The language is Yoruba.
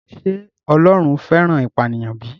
Ṣé Ọlọ́run fẹ́ràn ìpànìyàn bí?